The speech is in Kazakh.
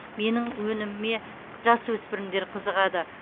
менің өніміме жасөспірімдер қызығады